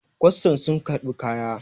kwastan sun karɓi kaya!